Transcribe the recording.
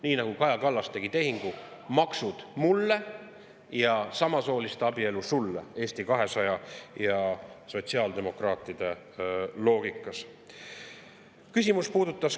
Nii nagu Kaja Kallas tegi tehingu: maksud mulle ja samasooliste abielu sulle, nii on see Eesti 200 ja sotsiaaldemokraatide loogikas.